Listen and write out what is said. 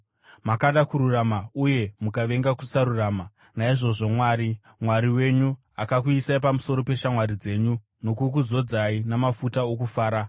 Makada kururama uye mukavenga kusarurama; naizvozvo Mwari, Mwari wenyu, akakuisai pamusoro peshamwari dzenyu nokukuzodzai namafuta okufara.”